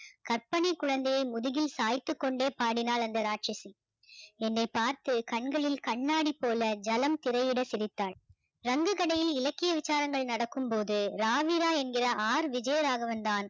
கற்பனை குழந்தையை முதுகில் சாய்த்துக்கொண்டே பாடினாள் அந்த இராட்சசி என்னை பார்த்து கண்களில் கண்ணாடி போல ஜலம் திரையிட சிரித்தாள் ரங்கு கடையில் இலக்கிய விசாலங்கள் நடக்கும் போது ராவிரா என்கிற ஆர் விஜயராகவன் தான்